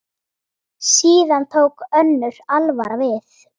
Síðan tók önnur alvara við.